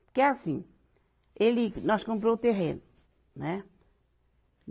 Porque assim, ele, nós comprou o terreno, né?